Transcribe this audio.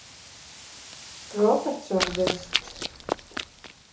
Robertson við St